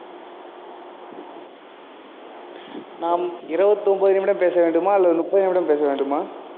நாம் இருபத்தி ஒன்பது நிமிடம் பேச வேண்டுமா அல்லது முப்பது நிமிடம் பேச வேண்டுமா